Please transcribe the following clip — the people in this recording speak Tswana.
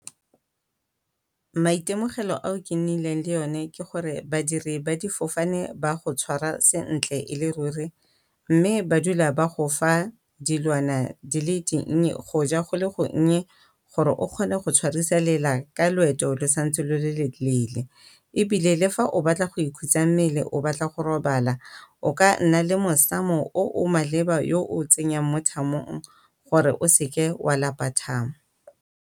Maitemogelo ao ke nnileng le o ne ke gore badiri ba difofane ba go tswara sentle e le ruri, mme ba dula ba go fa dilwana di le dinnye go ja go le gonnye gore o kgone go tshwarisa lela ka loeto lo santse lo le leele. Ebile le fa o batla go ikhutsa mmele o batla go robala o ka nna le mosamo o o maleba yo o tsenyang mo thamong gore o seke wa lapa thamo.